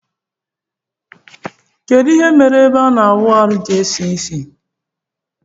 Kedu ihe mere ebe imaawụarụ ji esisi?